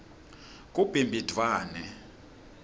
kubimbidvwane